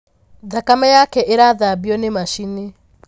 Thakame yake ĩrathambio nĩmacini.